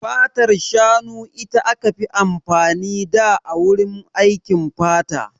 Fatar shanu ita aka fi amfani da a wurin aikin fata.